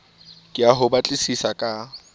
ke ya ho batlisisa ka